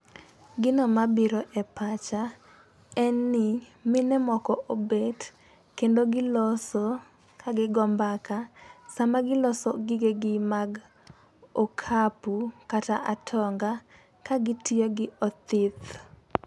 Gino mabiro e pacha en ni mine moko obet kendo giloso ka gigo mbaka sama giloso gige gi mag okapu kata atonga ka gitiyo gi othith.